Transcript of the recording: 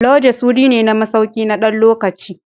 Lodges wuri ne na masauki na ɗan lokaci.